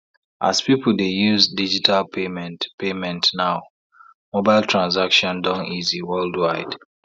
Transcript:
as people dey use digital payment payment now mobile transactions don easy worldwide